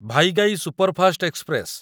Vaigai superfast express